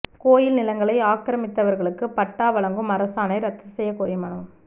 கோயில் நிலங்களை ஆக்கிரமித்தவா்களுக்கு பட்டா வழங்கும் அரசாணை ரத்து செய்யக் கோரி மனு